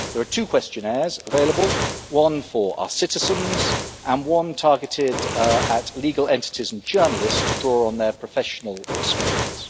There are two questionnaires available one for our citizens and one targeted at legal entities and journalists to draw on their professional experience.